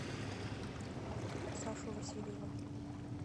сашу васильева